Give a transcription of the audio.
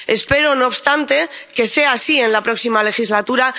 Espero, no obstante, que sea así en la próxima legislatura.